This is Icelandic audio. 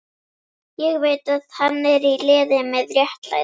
Ég veit að hann er í liði með réttlætinu.